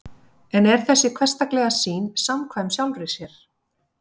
en er þessi hversdagslega sýn samkvæm sjálfri sér